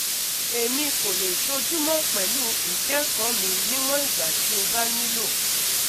Emi ko le ṣojumọ pẹlu ikẹkọ mi niwọn igba ti o ba nilo